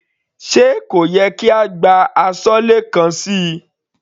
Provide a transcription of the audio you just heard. Sé kò yẹ kí a gbá aṣọ́lé kan síi.